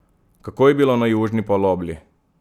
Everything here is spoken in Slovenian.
Kako je bilo na južni polobli?